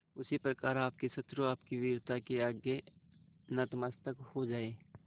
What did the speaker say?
उसी प्रकार आपके शत्रु आपकी वीरता के आगे नतमस्तक हो जाएं